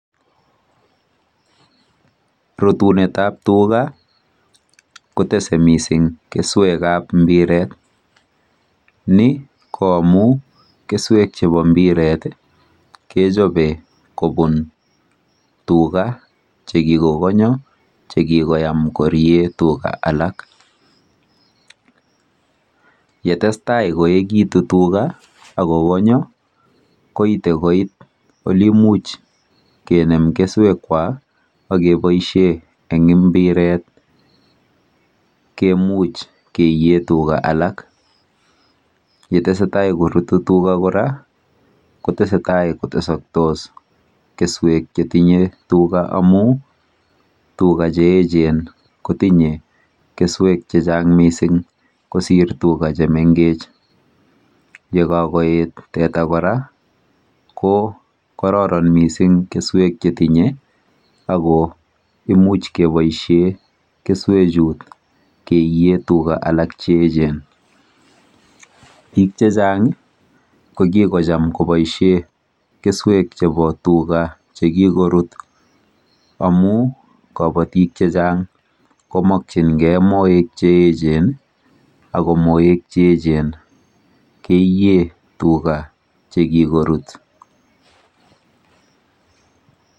Rutunetap tuga kotese missing' keswekap mbiret. Ni ko amu keswek chepo mbiret kechope kopun tuga che kikokonya che kikoyam koriee tuga alake. Yetestai koekitu tuga ak ko konya koite koit ole imuch kinem keswekwak ak kepaishe eng mbiret, kemuch keiie tuga alak. Yetese tai korutu tuga kora kotese tai ko tesaktos keswek che tinye tuga amu tuga che echen kotinye keswek che chang' missing' kosir tuga che mengech. Ye kakoet teta kora ko kararanitu missing' keswek che tinye ako imuch kepaishe keswechut keiiie tuga alak che echen. Piik che chang' ko kikocham kopaishe keswek chepo tuga che kikorut amu kapatik che chang' ko makchim gei moek che echen i, ako moek che echen keiie tuga che kikorut.